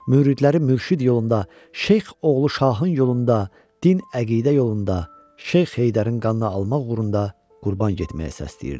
Müridləri mürşid yolunda, şeyx oğlu Şahın yolunda, din-əqidə yolunda, şeyx Heydərin qanını almaq uğrunda qurban getməyə səsləyirdi.